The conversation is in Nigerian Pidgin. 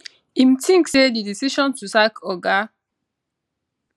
im tink say di decision to sack oga